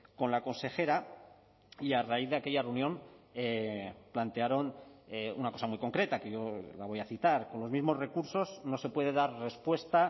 con la consejera y a raíz de aquella reunión plantearon una cosa muy concreta que yo la voy a citar con los mismos recursos no se puede dar respuesta